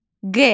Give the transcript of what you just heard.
Q.